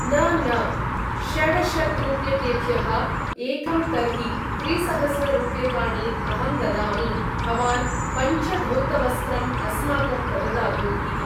न न षडशतरूप्यकेभ्यः एकं तर्हि त्रिसहस्ररूप्यकाणि अहं ददामि भवान् पञ्चधौतवस्त्रम् अस्माकं प्रददातु इति ।